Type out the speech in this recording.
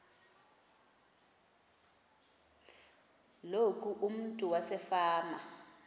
loku umntu wasefama